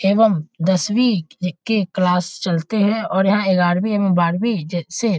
एवं दसवीं ए के क्लास चलते है और यहाँ ग्यारवीं एवं बारवीं जे से--